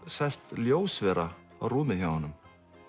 sest ljósvera á rúmið hjá honum